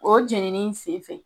O jenini sen fɛ